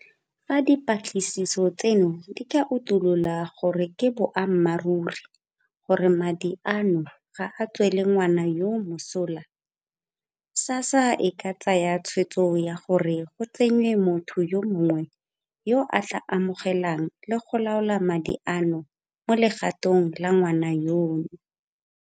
Fa dipatlisiso tseno di ka utulola gore ke boammaruri gore madi a no ga a tswele ngwana yoo mosola, SASSA e ka tsaya tshwetso ya gore go tsenngwe motho yo mongwe yo a tla amogelang le go laola madi ano mo legatong la ngwana yono.